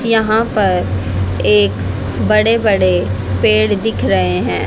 यहां पर एक बड़े बड़े पेड़ दिख रहे हैं।